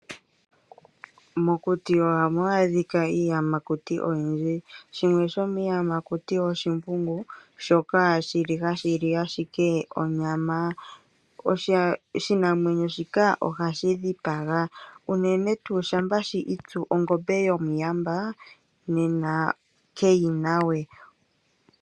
Mokuti ohamu adhika iiyamakuti oyindji ,shimwe shomiyamakuti oshimbungu shoka shili hashi ashike onyama ,oshinamwenyo shika ohashi dhipaga uneen tuu shampa shi itsu ongombe yomuyamba nena keyina we.